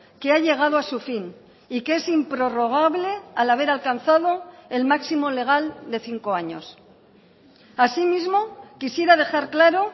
que ha llegado a su fin y que es improrrogable al haber alcanzado el máximo legal de cinco años asimismo quisiera dejar claro